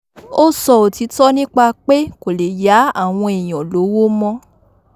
ó sọ òtítọ́ nípa pé kò lè yá àwọn èèyàn lọ́wọ́ mọ́